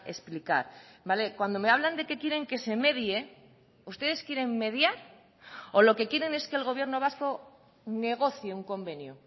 explicar cuando me hablan de que quieren que se medie ustedes quieren mediar o lo que quieren es que el gobierno vasco negocie un convenio